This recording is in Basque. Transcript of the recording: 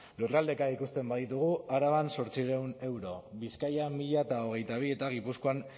lurraldeka ikusten baditugu araban zortziehun euro bizkaian mila hogeita bi eta gipuzkoan